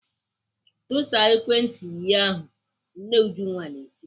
"Tụsa ekwentị yi ahụ!" Nne Ujunwa na-eti.